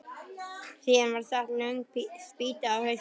Síðan var sett löng spýta á hausinn.